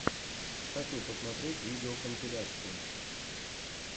хочу посмотреть видеокомпиляции